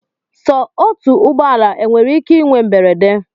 Sọ otu ụgbọala enwere ike inwe mberede?